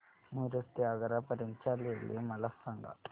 मिरज ते आग्रा पर्यंत च्या रेल्वे मला सांगा